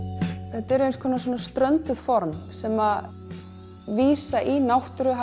þetta er eins konar strönduð form sem vísa í náttúruna